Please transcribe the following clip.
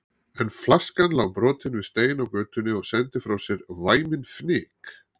En flaskan lá brotin við stein á götunni og sendi frá sér væminn fnyk.